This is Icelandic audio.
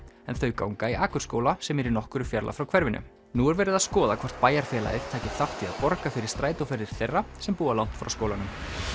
þau ganga í Akurskóla sem er í nokkurri fjarlægð frá hverfinu nú er verið að skoða hvort bæjarfélagið taki þátt í að borga fyrir strætóferðir þeirra sem búa langt frá skólanum